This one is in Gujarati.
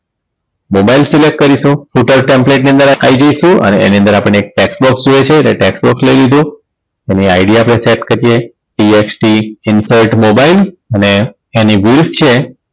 Mobile select કરીશું footer templet ની અંદર આવી જઈશું અને એની અંદર આપણને એક tax box જોઈએ છે એટલે tax box લઈ લીધું એની ID આપણે set કરી દઈએ TXT insert mobile અને એની width છે